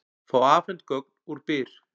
Fá afhent gögn úr Byr